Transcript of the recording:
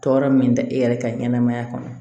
Tɔɔrɔ min da e yɛrɛ ka ɲɛnamaya kɔnɔ